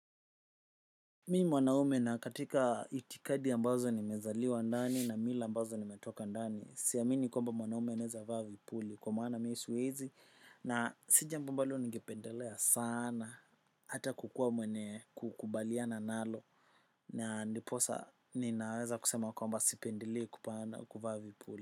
Mi ni mwanaume na katika itikadi ambazo nimezaliwa ndani na mila ambazo nimetoka ndani siamini kwamba mwanaume anaweza vaa vipuli kwa maana mii siwezi na si jambo ambalo ningependelea sana. Hata kukuwa mwenye kukubaliana nalo na ndiposa ninaweza kusema kwamba sipendelei kuvaa vipuli.